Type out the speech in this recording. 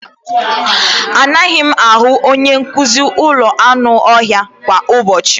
Anaghị m ahụ onye nduzi ụlọ anụ ọhịa kwa ụbọchị.